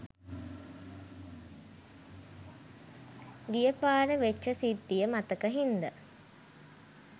ගියපාර වෙච්ච සිද්ධිය මතක හින්ද